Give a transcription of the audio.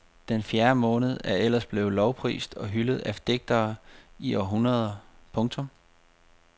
Den fjerde måned er ellers blevet lovprist og hyldet af digtere i århundreder. punktum